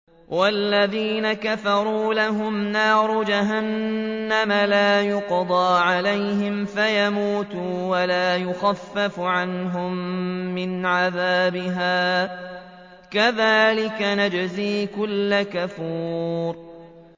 وَالَّذِينَ كَفَرُوا لَهُمْ نَارُ جَهَنَّمَ لَا يُقْضَىٰ عَلَيْهِمْ فَيَمُوتُوا وَلَا يُخَفَّفُ عَنْهُم مِّنْ عَذَابِهَا ۚ كَذَٰلِكَ نَجْزِي كُلَّ كَفُورٍ